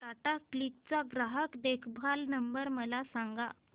Tata click चा ग्राहक देखभाल नंबर मला सांगा